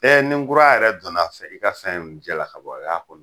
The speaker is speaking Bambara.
ni nkura yɛrɛ donna fɛ i ka fɛn ninnu cɛla ka bɔ o y'a kɔni